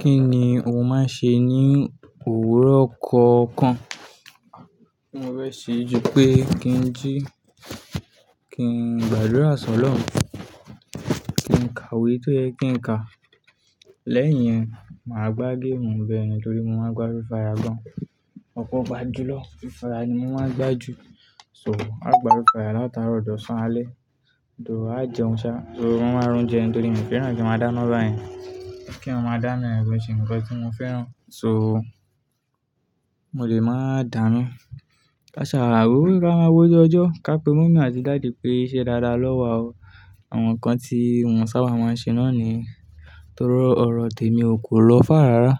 Kí ni o máa ń ṣe ní òwúrọ̀ kọ̀ọ̀kan? Kíní mo fe se ju pé kí n jí, kí n gbàdúrà sọ́loun, kí n kàwé tó yẹ kí n kà. Lẹ́yìn yẹn, màá gbá game bẹ́ẹ̀ni torí mo máa ń gbá freefire gan. Ọ̀pọ̀ gbajúmọ̀ Rufara ni mo máa ń gbá jù. So, à gbá freefire láti àárọ̀ dosán alẹ́. Too á jẹun sá, torí mo máa ń rún jẹun torí mi ò fẹ́ràn kí a máa dá iná báyẹn. Kí a máa dá iná ko n ṣe nǹkan tí mo fẹ́ràn. So, mo lè máa dá iná. Káṣàà, wo ká máa wójú ọjọ́. Ká pe mọ́ọ̀mi àti daddy pé ṣẹ́ dáda lọ́wa o. Àwọn nǹkan tí mọ sábà máa ń ṣe náà ni torí ọ̀rọ̀ tèmi o kò lọ far rárá.